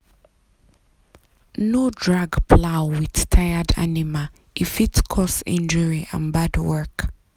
no drag plow with tired animal e fit cause injury and bad work.